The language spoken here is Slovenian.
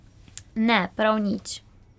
Ne, prav nič.